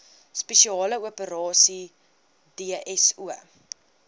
spesiale operasies dso